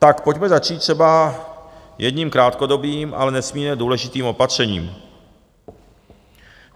Tak pojďme začít třeba jedním krátkodobým, ale nesmírně důležitým opatřením.